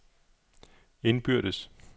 indbyrdes